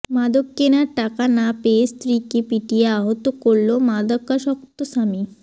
মাদক কেনার টাকা না পেয়ে স্ত্রীকে পিটিয়ে আহত করল মাদকাসক্ত স্বামী